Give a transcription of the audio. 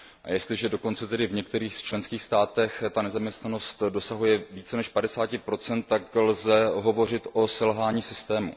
A jestliže dokonce tedy v některých členských státech ta nezaměstnanost dosahuje více než 50 tak lze hovořit o selhání systému.